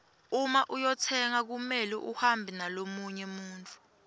uma uyotsenga kumele uhambe nalomunye muntfu